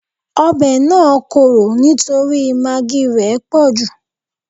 Ọbẹ̀ náà korò nítorí magí í rẹ̀ pọ̀jù